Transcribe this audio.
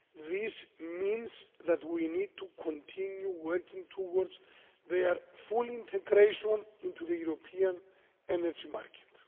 this means that we need to continue working towards their full integration into the European energy market.